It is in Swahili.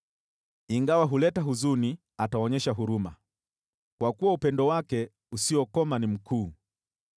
Ingawa huleta huzuni, ataonyesha huruma, kwa kuwa upendo wake usiokoma ni mkuu.